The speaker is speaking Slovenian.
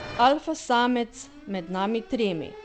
Alfa samec med nami tremi.